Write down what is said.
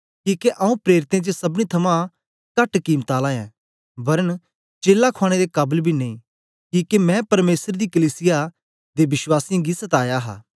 किके आऊँ प्रेरितें च सबनी थमां कहट कीमत आला ऐं वरन चेला खुआने दे काबल बी नेई किके मैं परमेसर दी कलीसिया दे वश्वासीयें गी सताया हा